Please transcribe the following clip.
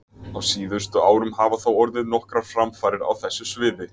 Á síðustu árum hafa þó orðið nokkrar framfarir á þessu sviði.